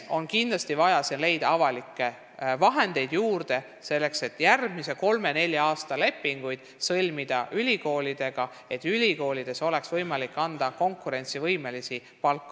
Kindlasti on vaja leida avalikke vahendeid juurde, selleks et sõlmida ülikoolidega järgmise kolme-nelja aasta lepingud ja et oleks võimalik maksta õppejõududele konkurentsivõimelist palka.